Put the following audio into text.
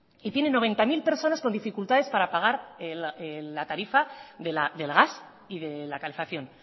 y tiene noventa mil personas con dificultades para pagar la tarifa del gas y de la calefacción